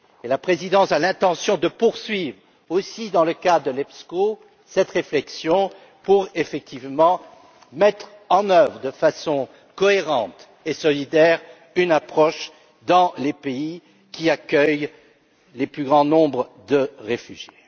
La Présidence a l'intention de poursuivre, aussi dans le cadre du Conseil EPSCO, cette réflexion pour effectivement mettre en oeuvre, de façon cohérente et solidaire, une approche dans les pays qui accueillent les plus grands nombres de réfugiés.